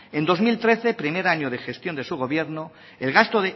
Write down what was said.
en dos mil trece primer año de gestión de su gobierno el gasto